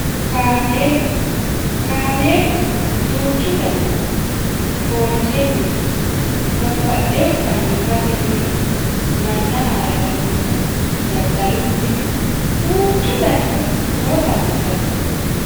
kaameela kaameelu duuchu danihuno foolisennihu babaxxehu fayyimmate minihu manna haare harannohu daddalunnihu duuchu danihu noota anfanni